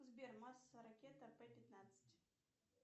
сбер масса ракеты п пятнадцать